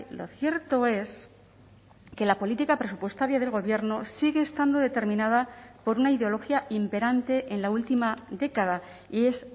lo cierto es que la política presupuestaria del gobierno sigue estando determinada por una ideología imperante en la última década y es